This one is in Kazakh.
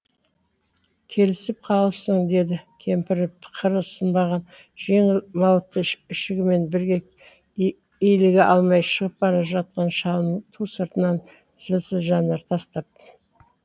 келісіп қалыпсың деді кемпірі қыры сынбаған жеңіл мауыты ішігімен бірге иліге алмай шығып бара жатқан шалының ту сыртына зілсіз жанар тастап